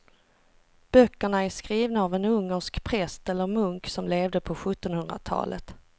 Böckerna är skrivna av en ungersk präst eller munk som levde på sjuttonhundratalet.